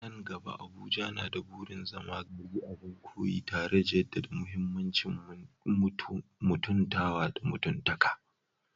A nan gaba, Abuja na da burin zama gari abin koyi, tare da jaddada muhimmancin mutuntawa da mutuntaka